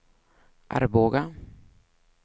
Arboga